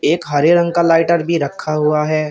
एक हरे रंग का लाइटर भी रखा हुआ है।